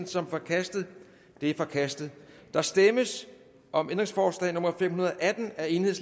som forkastet det er forkastet der stemmes om ændringsforslag nummer fem hundrede og atten af el